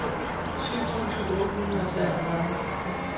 syv tusind otte hundrede og treogtredive